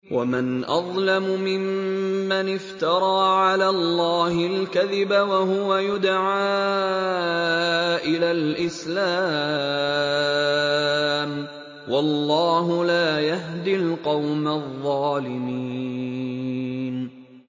وَمَنْ أَظْلَمُ مِمَّنِ افْتَرَىٰ عَلَى اللَّهِ الْكَذِبَ وَهُوَ يُدْعَىٰ إِلَى الْإِسْلَامِ ۚ وَاللَّهُ لَا يَهْدِي الْقَوْمَ الظَّالِمِينَ